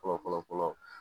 Fɔlɔ fɔlɔ